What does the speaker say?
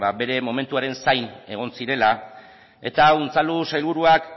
bere momentuaren zain egon zirela eta unzalu sailburuak